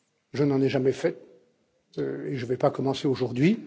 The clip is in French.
Je n'en ai jamais fait et je ne vais pas commencer aujourd'hui.